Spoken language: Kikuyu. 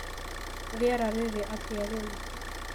rĩera rĩrĩ atĩa rĩu